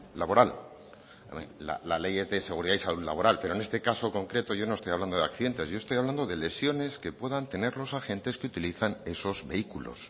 laboral la ley es de seguridad y salud laboral pero en este caso concreto yo no estoy hablando de accidentes yo estoy hablando de lesiones que puedan tener los agentes que utilizan esos vehículos